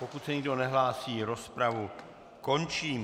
Pokud se nikdo nehlásí, rozpravu končím.